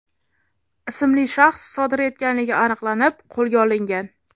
ismli shaxs sodir etganligi aniqlanib, qo‘lga olingan.